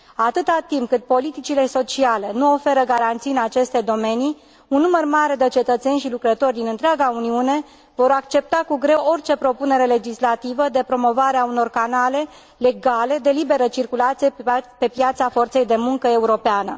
Atâta timp cât politicile sociale nu oferă garanții în aceste domenii, un număr mare de cetățeni și lucrători din întreaga Uniune vor accepta cu greu orice propunere legislativă de promovare a unor canale legale de liberă circulație pe piața forței de muncă europeană.